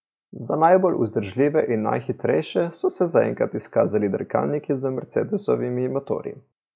Za najbolj vzdržljive in najhitrejše so se za enkrat izkazali dirkalniki z mercedesovimi motorji.